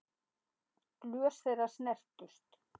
Glös þeirra snertust.